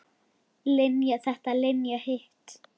Linja þetta og Linja hitt.